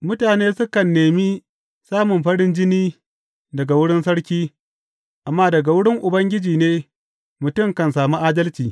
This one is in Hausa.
Mutane sukan nemi samun farin jini daga wurin sarki, amma daga wurin Ubangiji ne mutum kan sami adalci.